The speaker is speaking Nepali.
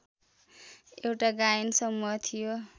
एउटा गायन समूह थियो